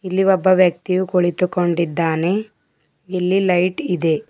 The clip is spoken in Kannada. ಇಲ್ಲಿ ಒಬ್ಬ ವ್ಯಕ್ತಿಯು ಕುಳಿತುಕೊಂಡಿದ್ದಾನೆ ಇಲ್ಲಿ ಲೈಟ್ ಇದೆ.